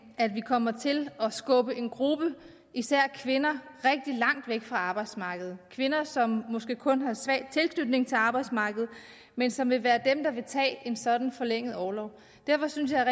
at vi kommer til at skubbe en gruppe især kvinder rigtig langt væk fra arbejdsmarkedet kvinder som måske kun har en svag tilknytning til arbejdsmarkedet men som vil være dem der vil tage en sådan forlænget orlov derfor synes jeg